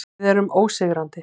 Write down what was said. Við erum ósigrandi.